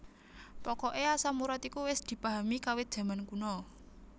Pokoke asam urat iku wis dipahami kawit jaman kuna